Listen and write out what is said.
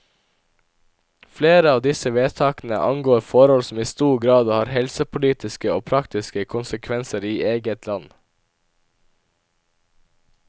Flere av disse vedtakene angår forhold som i stor grad har helsepolitiske og praktiske konsekvenser i eget land.